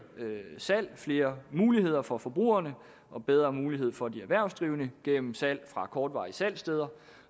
salg flere muligheder for forbrugerne og bedre mulighed for de erhvervsdrivende gennem salg fra kortvarige salgssteder